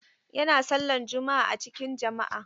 Yana sallan juma'a a cikin jama'a.